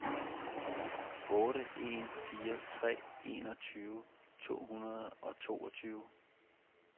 otte en fire tre enogtyve to hundrede og toogtyve